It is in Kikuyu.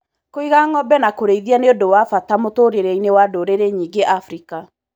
Kũiga ngombe na kũrĩithia nĩ ũndũ wa bata mũtũrĩreinĩ wa ndũrĩrĩ nyingĩ Afrika.